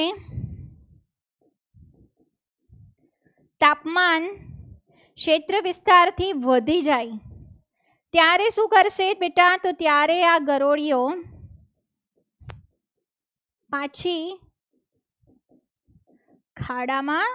તાપમાન ક્ષેત્ર વિસ્તારથી વધી જાય ત્ય રે શું કરશે? બેટા તો ત્યારે આ ગરૂડિયો પાછ ખાડામાં